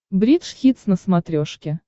бридж хитс на смотрешке